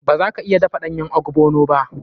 Ba za ka iya dafa ɗanyen ogbono ba.